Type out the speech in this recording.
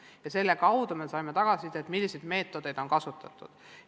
Ja selle kaudu me saime tagasiside, milliseid meetodeid on kasutatud.